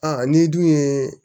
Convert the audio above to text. Aa n'i dun ye